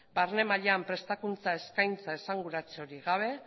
barne mailan prestakuntza eskaintza esanguratsurik gabe